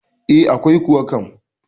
E, akwai kuwa kam.